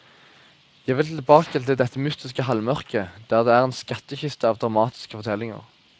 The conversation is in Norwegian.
Jeg ville tilbake til dette mytiske halvmørket, der det er en skattekiste av dramatiske fortellinger.